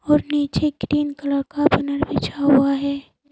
और नीचे green colour का बैनर बिछा हुआ है।